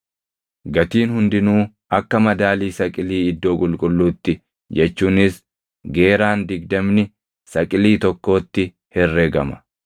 Gatiin hundinuu akka madaalii saqilii iddoo qulqulluutti jechuunis geeraan digdamni saqilii tokkootti herregama.